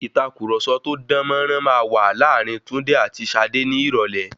Ìtàkurọ̀sọ tó dán mọ́rán máa wáyé láàárín Túndé àti Ṣadé ní irọ̀lẹ́.